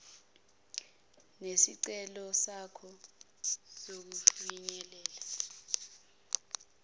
nesicelo sakho sokufinyelela